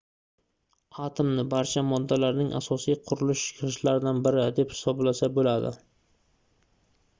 atomni barcha moddalarning asosiy qurilish gʻishtlaridan biri deb hisoblasa boʻladi